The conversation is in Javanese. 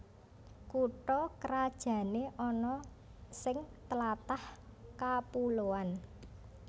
Kutha krajané ana sing tlatah kapuloan